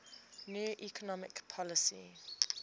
new economic policy